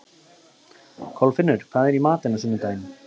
Kolfinnur, hvað er í matinn á sunnudaginn?